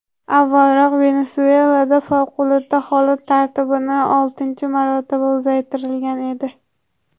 Avvalroq, Venesuelada favqulodda holat tartibini oltinchi marotaba uzaytirilgan edi.